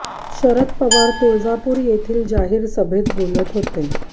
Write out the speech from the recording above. शरद पवार तुळजापूर येथील जाहीर सभेत बोलत होते